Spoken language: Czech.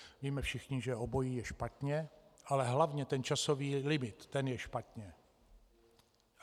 Víme všichni, že obojí je špatně - ale hlavně ten časový limit, ten je špatně.